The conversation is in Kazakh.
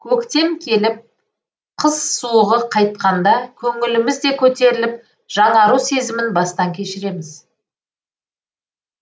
көктем келіп қыс суығы қайтқанда көңіліміз де көтеріліп жаңару сезімін бастан кешіреміз